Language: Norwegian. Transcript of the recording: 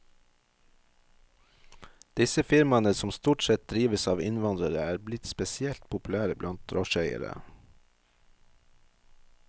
Disse firmaene, som stort sett drives av innvandrere, er blitt spesielt populære blant drosjeeiere.